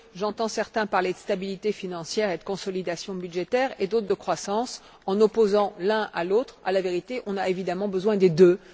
Tout d'abord, j'entends certains parler de stabilité financière et de consolidation budgétaire, et d'autres de croissance, en opposant l'un élément à l'autre. En vérité, on a évidemment besoin des deux.